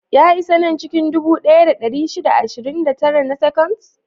Ya isa nan cikin dubu ɗaya da ɗari shida da ashirin da tara na seconds?